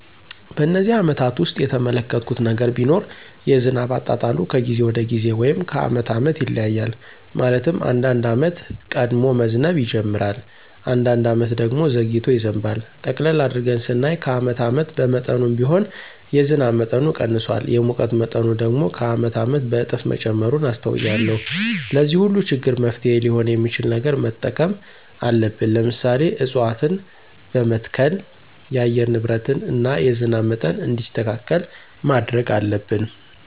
በነዚህ አመታት ውስጥ የተመለከትሁት ነገር ቢኖር የዝናብ አጣጣሉ ከጊዜ ወደ ጊዜ ወይም ከአመት አመት ይለያያል። ማለትም አንዳንድ አመት ቀድሞ መዝነብ ይጅምራል። አንዳንድ አመት ደግሞ ዘግይቶ ይዘንባል። ጠቅለል አድርገን ስናየው ከአመት አመት በመጠኑም ቢሆን የዝናብ መጠኑ ቀንሷል። የሙቀት መጠኑ ደግሞ ከአመት አመት በእጥፍ መጨመሩን አስተውያለሁ። ለዚህ ሁሉ ችግር መፍትሔ ሊሆን የሚችል ነገር መጠቀም አለብን። ለምሳሌ፦ እፅዋትን በመትከል የአየር ንብረትን እና የዝናብ መጠን እንዲስተካከል ማድረግ አለብን።